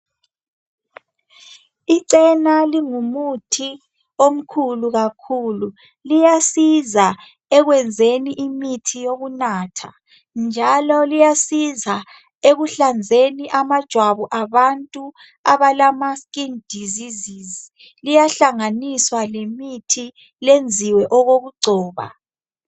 Icena lingumuthi omkhulu kakhulu liyasiza ekwenzeni imithi yokunathatha njalo liyasiza ekuhlanzeni amajwabu abantu abalemikhuhlane yejwabi liyahlanganiswa lemithi lenziwe okokugcoba.